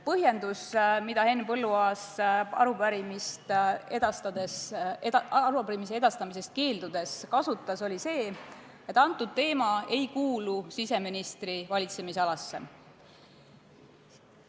Põhjendus, mida Henn Põlluaas arupärimise edastamisest keeldudes kasutas, oli see, et kõnealune teema ei kuulu siseministri valitsemisalasse.